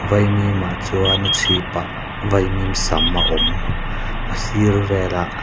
vaimim ah chuan a chhipah vaimim sam a awm a sir velah--